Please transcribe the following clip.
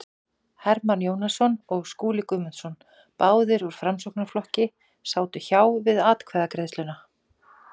Hermann Jónasson og Skúli Guðmundsson, báðir úr Framsóknarflokki, sátu hjá við atkvæðagreiðsluna.